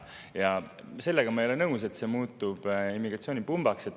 Ma ei ole nõus sellega, et see muutub immigratsioonipumbaks.